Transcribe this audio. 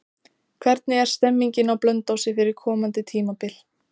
Hvernig er stemmingin á Blönduósi fyrir komandi tímabil?